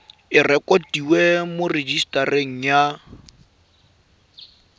e rekotiwe mo rejisetareng ya